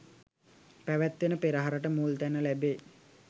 පැවැත්වෙන පෙරහරට මුල්තැන ලැබේ.